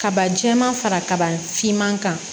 Kaba jɛma fara kaba fiman kan